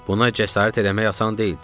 Buna cəsarət eləmək asan deyildi.